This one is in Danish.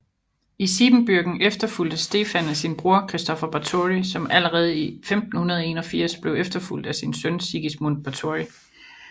I Siebenbürgen efterfulgtes Stefan af sin bror Kristofer Báthory som allerede i 1581 blev efterfulgt af sin søn Sigismund Báthory